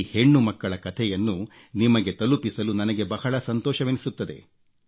ಈ ಹೆಣ್ಣುಮಕ್ಕಳ ಕಥೆಯನ್ನು ನಿಮಗೆ ತಲುಪಿಸಲು ನನಗೆ ಬಹಳ ಸಂತೋಷವೆನಿಸುತ್ತದೆ